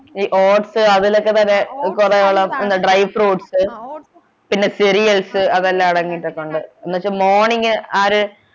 ഈ oats അതിലൊക്കെ പിന്നെ കൊറേയോളം dry fruits പിന്നെ അതെല്ലാം അടങ്ങീട്ടുണ്ട് എന്നുവെച്ചു morning ആര്